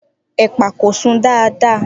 Epa ko sun dada